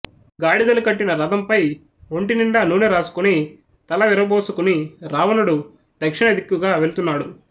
గాడిదలు కట్టిన రథం పై ఒంటి నిండా నూనె రాసుకుని తల విర బోసుకుని రావణుడు దక్షిణదిక్కుగా వెళుతున్నాడు